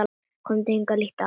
Komdu hingað, líttu á!